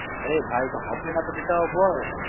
আরে ভাই হবে না সেটা তো বল